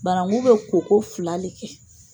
Barangu bɛ koko fila le kɛ.